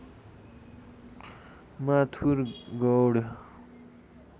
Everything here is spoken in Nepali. माथुर गौड